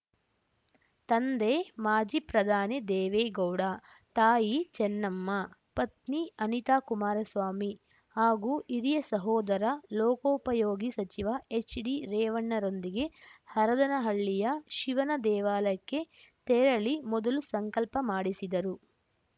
ತಂದೆ ಮಾಜಿ ಪ್ರಧಾನಿ ದೇವೇಗೌಡ ತಾಯಿ ಚೆನ್ನಮ್ಮ ಪತ್ನಿ ಅನಿತಾಕುಮಾರಸ್ವಾಮಿ ಹಾಗೂ ಹಿರಿಯ ಸಹೋದರ ಲೋಕೋಪಯೋಗಿ ಸಚಿವ ಎಚ್‌ಡಿರೇವಣ್ಣರೊಂದಿಗೆ ಹರದನಹಳ್ಳಿಯ ಶಿವನ ದೇವಾಲಯಕ್ಕೆ ತೆರಳಿ ಮೊದಲು ಸಂಕಲ್ಪ ಮಾಡಿಸಿದರು